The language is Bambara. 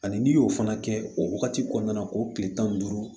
Ani n'i y'o fana kɛ o wagati kɔnɔna na o kile tan ni duuru